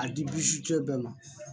A di bɛɛ ma